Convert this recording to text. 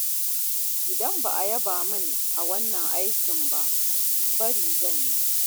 Idan ba a yaba min a wannan aikin ba, bari zan yi.